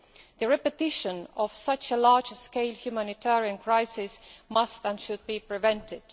The repetition of such a large scale humanitarian crisis must, and should, be prevented.